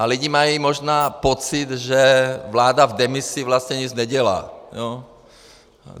A lidi mají možná pocit, že vláda v demisi vlastně nic nedělá.